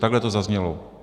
Takhle to zaznělo.